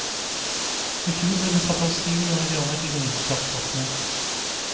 I fjor ble det satt av syv millioner kroner til vindkraftsatsing.